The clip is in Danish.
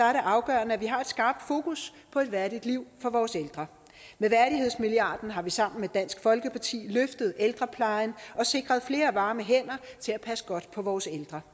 afgørende at vi har et skarpt fokus på et værdigt liv for vores ældre med værdighedsmilliarden har vi sammen med dansk folkeparti løftet ældreplejen og sikret flere varme hænder til at passe godt på vores ældre